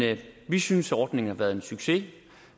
vi synes ordningen har været en succes